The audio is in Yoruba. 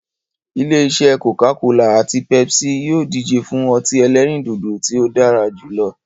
Ilé-isẹ́ "Coca-cola" àti "Pepsi" yìí ó díje fún ọtí ẹlẹ́rìndòdò tí ó dára jù lọ.